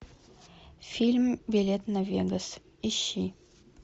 фильм билет на вегас ищи